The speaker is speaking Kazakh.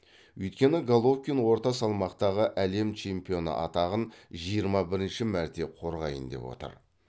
өйткені головкин орта салмақтағы әлем чемпионы атағын жиырма бірінші мәрте қорғайын деп отыр